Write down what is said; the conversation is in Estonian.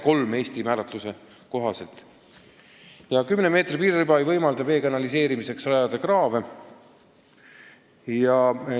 10 meetri laiune piiririba ei võimalda vee kanaliseerimiseks kraave rajada.